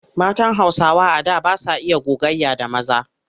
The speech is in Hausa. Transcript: Matan Hausawa a da ba sa iya gogayya da maza.